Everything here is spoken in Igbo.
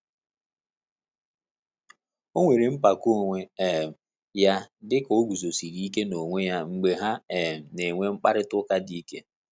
O nwere mpako onwe um ya dịka o guzosiri ike na onwe ya mgbe ha um na enwe mkparịta ụka dị ike